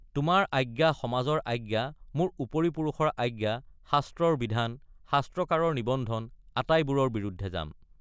তোমাৰ আজ্ঞা সমাজৰ আজ্ঞা মোৰ উপৰি পুৰুষৰ আজ্ঞা শাস্ত্ৰৰ বিধান শাস্ত্ৰকাৰৰ নিবন্ধন আটাইবোৰৰ বিৰুদ্ধে যাম।